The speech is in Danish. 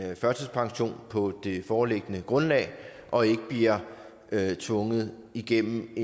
førtidspension på det foreliggende grundlag og ikke bliver tvunget igennem